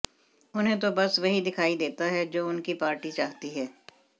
उन्हें तो बस वही दिखाई देता है जो उनकी पार्टी चाहती है